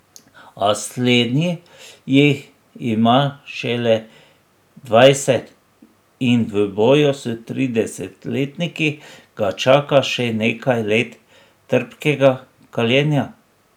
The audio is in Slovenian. A slednji jih ima šele dvajset in v boju s tridesetletniki ga čaka še nekaj let trpkega kaljenja.